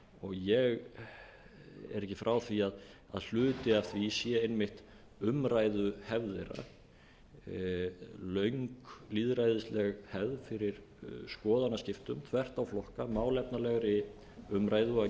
ég er ekki frá því að hluti af því sé einmitt umræðuhefð þeirra löng lýðræðisleg hefð fyrir skoðanaskiptum þvert á flokka málefnalegri umræðu og gefa sér tíma í